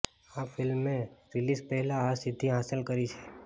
આ ફિલ્મે રિલીઝ પહેલા આ સિદ્વિ હાંસલ કરી છે